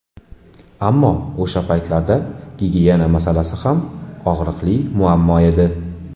Ammo o‘sha paytlarda gigiyena masalasi ham og‘riqli muammo edi.